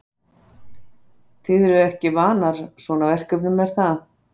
Þið eruð nú ekki vanar svona verkefnum er það?